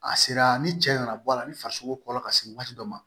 A sera ni cɛ nana bɔ a la ni farisoko kɔrɔ ka se waati dɔ ma